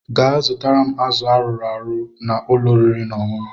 Gaa zụtara m azụ arụrụ arụ na ụlọ oriri na ọṅụṅụ